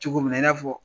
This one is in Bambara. Cogo min na i n'a fɔ